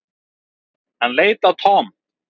Hann leit á Tom.